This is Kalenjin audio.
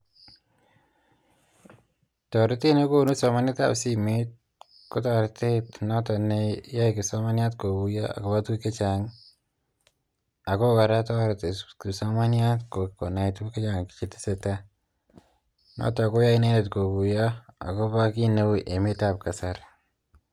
Toretet nekonu somanet ab simet kotoretet not kokonu konai kipsomanyat ng'alek chechang akotoreti konai kipsomanyat ng'alek chechang akobo emet